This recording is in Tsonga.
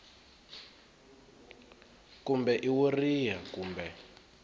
kumbe i wo riha kumbe